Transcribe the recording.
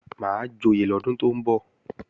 Máa joyè lọ́dún tó ń bọ̀